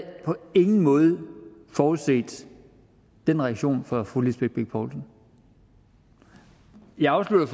på ingen måde forudset den reaktion fra fru lisbeth bech poulsen jeg afsluttede